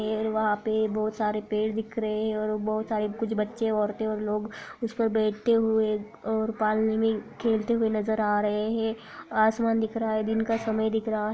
पेड़ वहाँ पे बहुत सारे पेड़ दिख रहे हैं और बहुत सारे कुछ बच्चे औरतें और लोग उसपे बैठते हुए और पालने में खेलते हुए नजर आ रहे हैं आसमान दिख रहा है दिन का समय दिख रहा है |